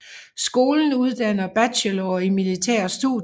Skolen uddanner bachelorer i militære studier